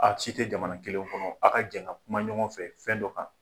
A si tɛ jamana kelen kɔnɔ a' ka jɛn ka kuma ɲɔgɔn fɛ fɛn dɔ kan.